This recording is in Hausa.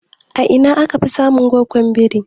A ina aka fi samun goggon biri?